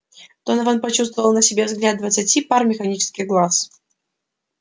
донован почувствовал на себе взгляд двадцати пар механических глаз